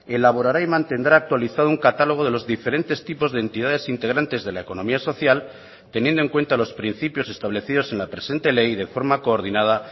elaborará y mantendrá actualizado un catálogo de los diferentes tipos de entidades integrantes de la economía social teniendo en cuenta los principios establecidos en la presente ley de forma coordinada